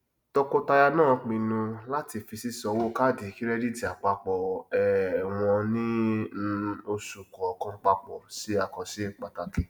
tọkọtaya náà pinnu láti fi sísán owó kaadi kírẹdítì apapọ um wọn ní um oṣù kọọkan papọ ṣe àkànṣe pàtàkì